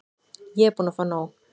Ég er búin að fá nóg.